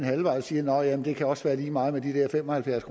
halvvejen og siger nå ja det kan også være lige meget med de der fem og halvfjerds